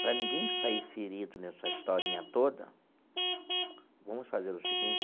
Para ninguém sair ferido nessa historinha toda, vamos fazer o seguinte.